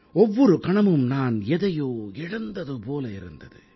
ஒவ்வொரு கணமும் நான் எதையோ இழந்தது போல இருந்தது